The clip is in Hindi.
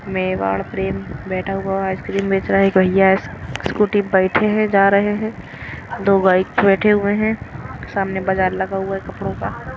मेवाड़ प्रेम बैठा हुआ आइसक्रीम बेच रहा है भैया है स्कूटी बैठे हैं जा रहे हैं दो बाइक बैठे हुए हैं सामने बाजार लगा हुआ है कपड़ों का।